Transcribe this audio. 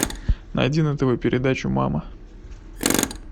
найди на тв передачу мама